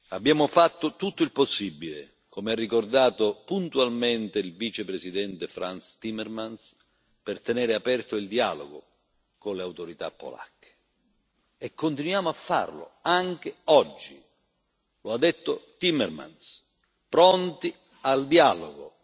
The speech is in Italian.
Abbiamo fatto tutto il possibile, come ha ricordato puntualmente il Vicepresidente Frans Timmermans, per tenere aperto il dialogo con le autorità polacche, e continuiamo a farlo anche oggi, come ha detto Timmermans, pronti al dialogo.